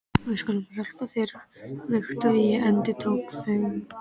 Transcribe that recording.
Við skulum hjálpa þér, Viktoría, endurtóku þau.